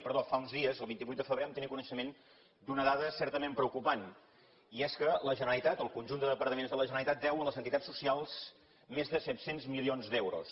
perdó fa uns dies el vint vuit de febrer vam tenir coneixement d’una dada certament preocupant i és que la generalitat el conjunt de departaments de la generalitat deu a les entitats socials més de set cents milions d’euros